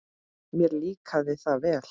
Mér líkaði það vel.